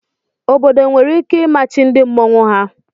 Obodo nwere ike imachi ndị mmọnwu ha.